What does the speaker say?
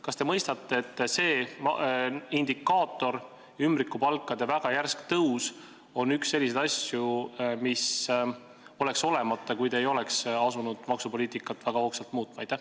Kas te mõistate, et see indikaator – ümbrikupalkade väga järsk tõus – on üks selliseid asju, mis oleks olemata, kui te ei oleks asunud väga hoogsalt maksupoliitikat muutma?